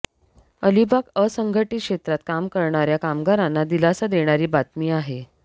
अलिबाग असंघटीत क्षेत्रात काम करणाऱ्या कामगारांना दिलासा देणारी बातमी आहे